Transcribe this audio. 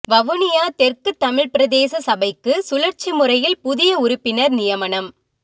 வவுனியா தெற்கு தமிழ் பிரதேச சபைக்கு சுழற்சி முறையில் புதிய உறுப்பினர் நியமனம்